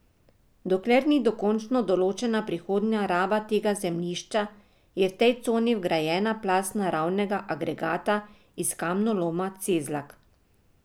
Dokler ni dokončno določena prihodnja raba tega zemljišča, je v tej coni vgrajena plast naravnega agregata iz kamnoloma Cezlak.